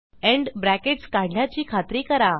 end brackets काढल्याची खात्री करा